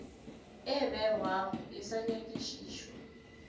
e begwago e sa nyakišišwa